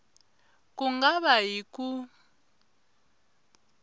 ku nga va hi ku